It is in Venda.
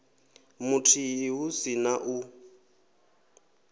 muthihi hu si na u